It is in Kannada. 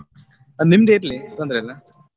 ಅಹ್ ನಿಮ್ದೇ ಇರ್ಲಿ ತೊಂದ್ರೆ ಇಲ್ಲ.